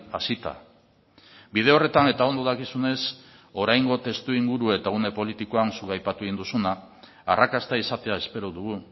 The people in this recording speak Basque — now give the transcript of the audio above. hasita bide horretan eta ondo dakizunez oraingo testuinguru eta une politikoan zuk aipatu egin duzuna arrakasta izatea espero dugu